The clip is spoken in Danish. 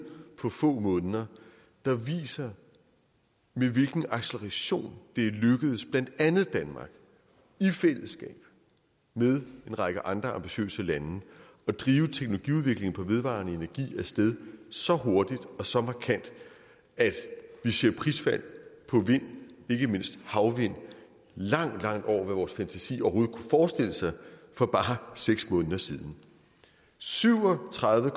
på få måneder der viser med hvilken acceleration det er lykkedes blandt andet danmark i fællesskab med en række andre ambitiøse lande at drive teknologiudvikling på vedvarende energi af sted så hurtigt og så markant at vi ser prisfald på vind ikke mindst havvind langt langt over vores fantasi overhovedet kunne forestille os for bare seks måneder siden syv og tredive